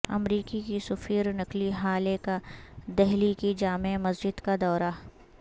امریکی کی سفیر نکی ہالے کا دہلی کی جامع مسجد کا دورہ